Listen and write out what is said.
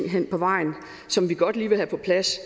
som vi godt lige vil have på plads